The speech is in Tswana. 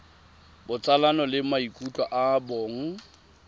botsalano le maikutlo a bong